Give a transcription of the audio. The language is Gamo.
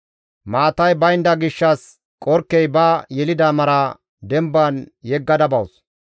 Maatay baynda gishshas qorkkey ba yelida mara demban yeggada bawus.